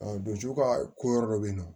donjugu ka ko yɔrɔ dɔ bɛ yen nɔ